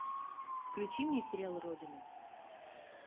включи мне сериал родина